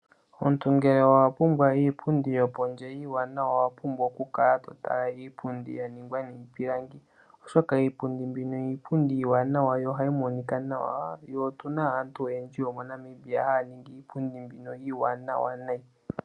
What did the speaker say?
Omuntu ngele owa pumbwa iipundi yopondje iiwanawa owa pumbwa okukala to tala iipundi ya ningwa niipilangi. Oshoka iipundi mbino iipundi iiwanawa yo ohayi monika nawa . Tse otu na aantu oyendji yomoNamibia haya ningi iipundi mbino iiwanawa unene.